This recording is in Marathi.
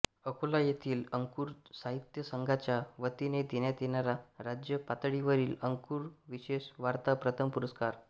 अकोला येथील अंकुर साहित्य संघाच्या वतीने देण्यात येणारा राज्यपातळीवरील अंकुर विशेषवार्ता प्रथम पुरस्कार